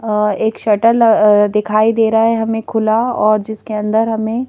अ एक शर्टल दिखाई दे रहा है हमें खुला और जिसके अंदर हमें--